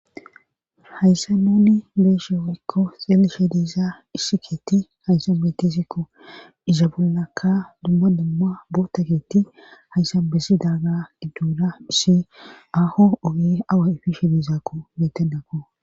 Hayssan nuni be'she woykko xelishe di'za issi keetha hayssa beeti isikko iza bollakka dumma dumma boota keetti hayssan bessidaaga idduuda issi awa ifishe diizakko metenako.